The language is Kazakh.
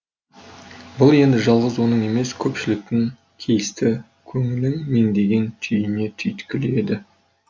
бұл енді жалғыз оның емес көпшіліктің кейісті көңілін меңдеген түйне түйткілі еді